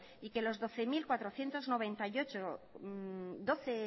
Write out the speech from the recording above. y que los doce